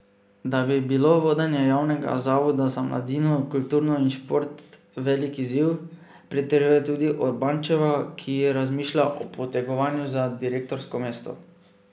Da bi bilo vodenje Javnega zavoda za mladino, kulturo in šport velik izziv, pritrjuje tudi Urbančeva, ki razmišlja o potegovanju za direktorsko mesto.